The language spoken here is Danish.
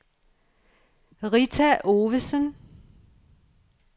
Rita Ovesen